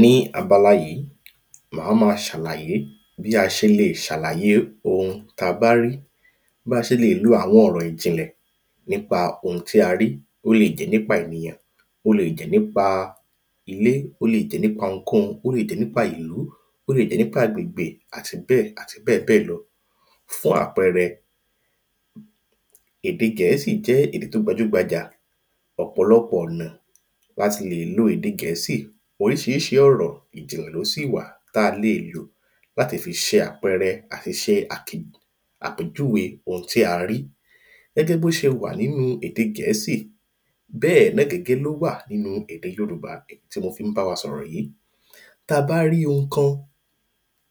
ní abala yìí, a máa ṣàlàye bí a ṣe lè ṣàlàye ohun tí a bá rí, bí a ṣè lè lo àwọn ọ̀rọ̀ ìjìnlẹ̀ nípa ohun tí a rí, ó lè jẹ́ nípa ènìyàn, ó lè jẹ́ nípa ilé, ó lè jẹ́ nípa ohunkóhun, ó lè jẹ́ nípa ìlú, ó lè jẹ́ nípa agbègbè àti bẹ́ẹ̀ àti bẹ́ẹ̀ bẹ́ẹ̀ lọ fún àpẹrẹ, ède Gẹ̀ẹ́sì jẹ́ èdè tí ó gbajúgbajà, ọ̀pọ̀lọpọ̀ ọ̀nà ni a ti lè lo ède Gẹ̀ẹ́sì oríṣiríṣi ọ̀rọ̀ ìjìnlẹ̀ ní ó sì wà tí a lè lò láti fi ṣe àpẹrẹ àti ṣe àpèjúwe ohun tí a rí gẹ́gẹ́ bí ó ṣe wà nínu ède Gẹ̀ẹ́sì, bẹ́ẹ̀ náà gẹ́gẹ́ ló wà nínu ède Yorùbá èyí tí mo fi bá wa sọ̀rọ̀ yìí bí a bá rí ohun kan,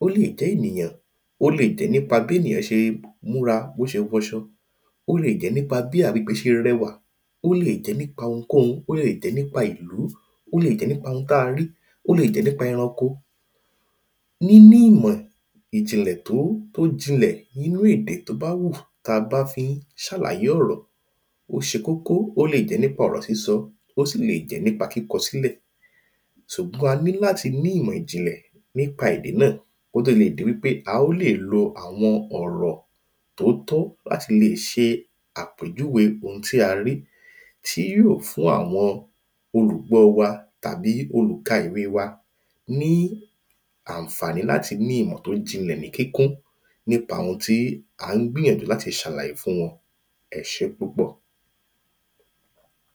ó lè jẹ́ ènìyàn, ó lè jẹ́ nípa bí ènìyàn ṣe ń múra, bí ó ṣe wọ aṣọ, ó lè jẹ́ nípa bí agbègbè ṣe rẹwà, ó lè jẹ́ nípa ohun kóhun, ó lè jẹ́ nípa ìlú, ó lè jẹ́ nípa ohun tí a rí, ó lè jẹ́ nípa ẹranko, níní ìmọ̀ ìjìnlẹ̀, tó jinlẹ̀ nínu èdè tí ó bá wà tá bá fi ń ṣàlàyé ọ̀rọ̀, ó ṣe kókó, ó lè jẹ́ nípa ọ̀rọ̀ sísọ, ó sì lè jẹ́ nípa kíkọ sílẹ̀ ṣùgbọ́n a ní láti ní ìmọ̀ ìjìnlẹ̀ nípa èdè náà kí ó tó di wípé a tó lè ló àwọn ọ̀rọ̀ tó tọ́ láti ṣe àpéjúwe ohun tí a rí tí yóò fún àwọn olùgbọ wa tàbí àwọn olùka-ìwe wa ní àǹfàní láti ní ìmọ̀ tí ó jinlẹ̀ ní kíkun nípa ohun tí a gbìnyànjú láti ṣàlàyé fún wọn. ẹṣé púpọ̀